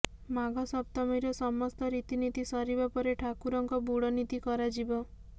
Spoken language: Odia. ମାଘ ସପ୍ତମୀର ସମସ୍ତ ରୀତିନୀତି ସରିବା ପରେ ଠାକୁରଙ୍କ ବୁଡ ନୀତି କରାଯିବ